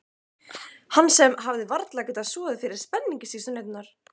Hann sem hafði varla getað sofið fyrir spenningi síðustu næturnar.